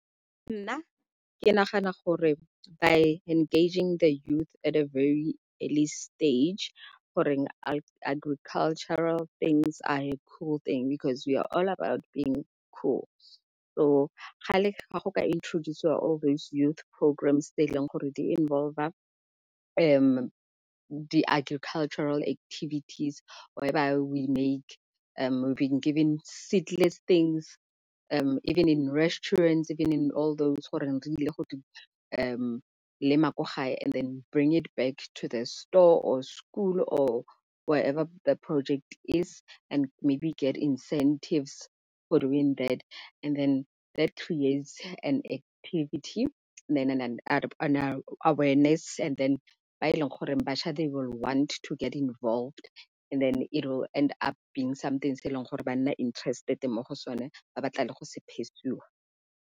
Nna ke nagana gore by engaging the youth at the very early stage. Goreng agricultural things are a cool thing because we all about being cool. So ga go ka introduce-iwa all those youth programmes tse e leng gore di involve-a di-agricultural activities where by we will be given seedless things, even in restaurants even on all those go di lema ko gae and then bring them back to the store, or school, or wherever the project is and maybe get incentives and that creates an activity and then ba e leng gore batjha they will want to get involved and it will end up being something se e leng gore ba nna interested mo go sone ba batla le go se pursue-wa.